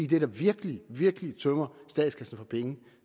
det der virkelig virkelig tømmer statskassen for penge